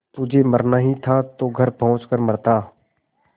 तुझे मरना ही था तो घर पहुँच कर मरता